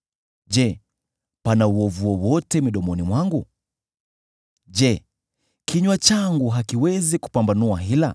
Je, pana uovu wowote midomoni mwangu? Je, kinywa changu hakiwezi kupambanua hila?